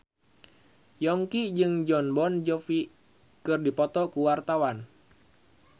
Yongki jeung Jon Bon Jovi keur dipoto ku wartawan